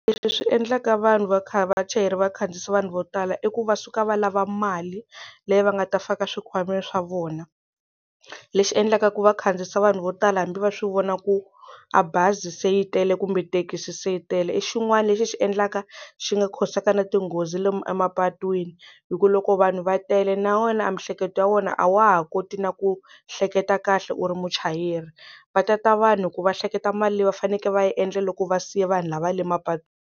Leswi swi endlaka vanhu va kha vachayeri va khandziyisa vanhu vo tala i ku va suka va lava mali leyi va nga ta faka swikhwameni swa vona lexi endlaka ku va khandziyisa vanhu vo tala hambi va swi vona ku a bazi se yi tele kumbe thekisi se yi tele i xin'wani lexi xi endlaka xi nga cause-aka na tinghozi le emapatwini hi ku loko vanhu va tele na wena a miehleketo ya wena a wa ha koti na ku hleketa kahle u ri muchayeri va ta ta vanhu ku va hleketa mali leyi va fanekele va yi endla loko va siya vanhu lava le mapatwini.